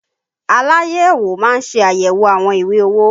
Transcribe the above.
Aláyẹ̀wò má ń ṣe ayẹwo àwọn ìwé owó